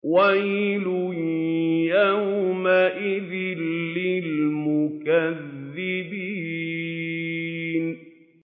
وَيْلٌ يَوْمَئِذٍ لِّلْمُكَذِّبِينَ